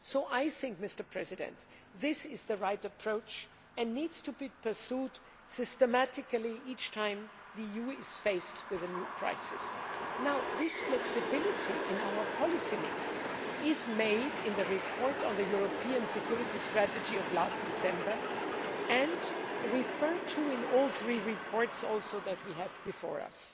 I think this is the right approach, and it needs to be pursued systematically each time the EU is faced with a new crisis. This flexibility in our policy mix is emphasised in the report on the European security strategy of last December and referred to in all three reports that we have before us.